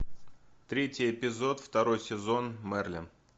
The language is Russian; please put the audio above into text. третий эпизод второй сезон мерлин